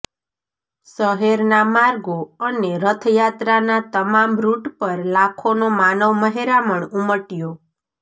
શહેરના માર્ગો અને રથયાત્રાના તમામ રૂટ પર લાખોનો માનવમહેરામણ ઉમટયો